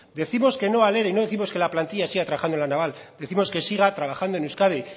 decimos que no al ere y no décimos que la plantilla siga trabajando en la naval décimos que siga trabajando en euskadi